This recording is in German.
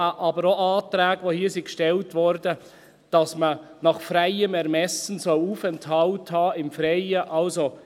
Aber auch Anträge, die hier gestellt wurden, wonach man «nach freiem Ermessen» Aufenthalt im Freien haben soll.